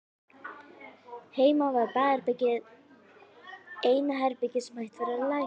Heima var baðherbergið eina herbergið sem hægt var að læsa.